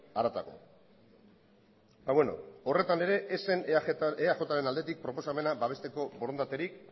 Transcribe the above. haratago eta beno horretan ere ez zen eajren aldetik proposamena babesteko borondaterik